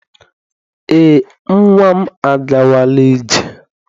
Eé, nnwa m agawala ije.